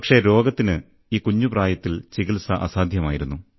പക്ഷേ രോഗത്തിന് ഈ കുഞ്ഞുപ്രായത്തിൽ ചികിത്സ അസാധ്യമായിരുന്നു